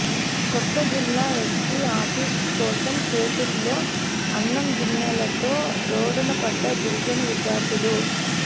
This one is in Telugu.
కొత్త జిల్లా ఎస్పి ఆఫీస్ కోసం చేతుల్లో అన్నం గిన్నెలతో రోడ్డున పడ్డ గిరిజన విద్యార్థులు